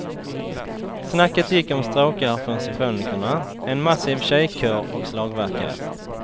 Snacket gick om stråkar från symfonikerna, en massiv tjejkör och slagverkare.